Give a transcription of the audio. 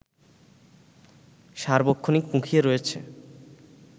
সার্বক্ষণিক মুখিয়ে রয়েছে